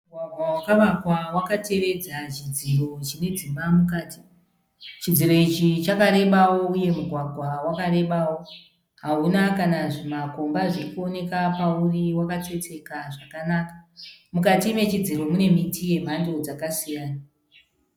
Mugwagwa wakavakwa wakatevedza chidziro chine dzimba mukati. Chidziro ichi chakarebawo uye mugwagwa wakarebawo. Hauna kana zvimakomba zvirikuoneka pauri wakatsetseka zvakanaka. Mukati mechidziro mune miti yemhando dzakasiyana.